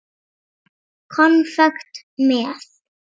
Konfekt með.